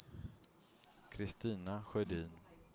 Kristina Sjödin